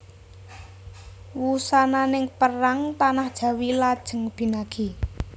Wusananing perang tanah Jawi lajeng binagi